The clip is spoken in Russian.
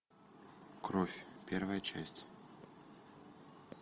кровь первая часть